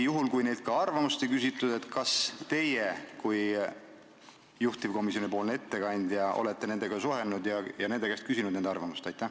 Juhul kui neilt ka arvamust ei küsitud, siis kas teie kui juhtivkomisjoni ettekandja olete nende sihtrühmadega suhelnud ja nende käest arvamust küsinud?